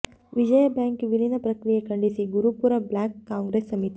ವಿಜಯ bank ವಿಲೀನ ಪ್ರಕ್ರಿಯೆ ಖಂಡಿಸಿದ ಗುರುಪುರ ಬ್ಲಾಕ್ ಕಾಂಗ್ರೆಸ್ ಸಮಿತಿ